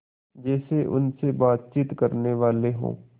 जैसे उनसे बातचीत करनेवाले हों